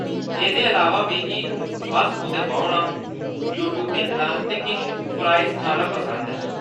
एह्‌‌‌दे अलावा, मिगी बस्स कुतै बौह्‌ना, यूट्‌यूब दिक्खना ते किश फ्राइज़ खाना पसंद ऐ।